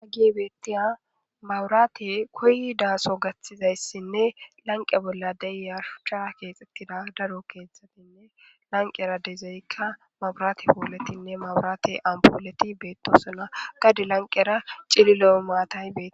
hagey betiya mabrate koyidaaso gaththizayssinne lanqe bolla de'ya shuhchan keexettida daro kethatinne lanqera dezeykka maburate pooletinne maburaate ampooleti beettosona gade lanqera cililo maatay betes.